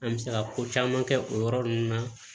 An bɛ se ka ko caman kɛ o yɔrɔ ninnu na